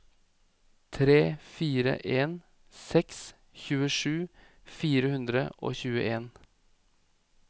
tre fire en seks tjuesju fire hundre og tjueen